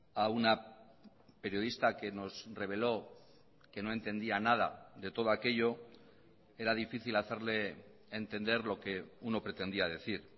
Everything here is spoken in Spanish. a una periodista que nos reveló que no entendía nada de todo aquello era difícil hacerle entender lo que uno pretendía decir